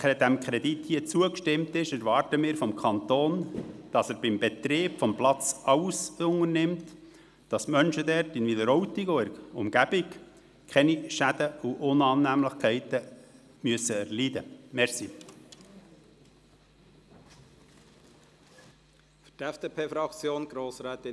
Wenn diesem Kredit hier zugestimmt wird, erwarten wir vom Kanton, dass er beim Betrieb des Platzes alles unternimmt, damit die Menschen dort, in Wileroltigen und Umgebung, keine Schäden und Unannehmlichkeiten erleiden müssen.